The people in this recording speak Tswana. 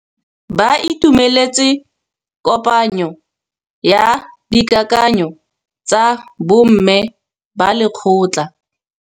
Ba itumeletse kôpanyo ya dikakanyô tsa bo mme ba lekgotla.